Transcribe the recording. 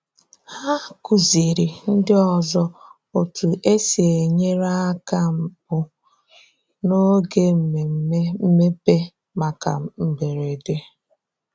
Hà kụzìrì ndị ọzọ otú e si enyere aka mbụ n’oge mmemme mmepe maka mberede.